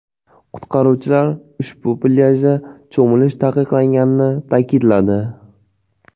Qutqaruvchilar ushbu plyajda cho‘milish taqiqlanganini ta’kidladi.